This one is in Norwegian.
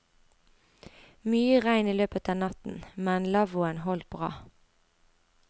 Mye regn i løpet av natten, men lavvoen holdt bra.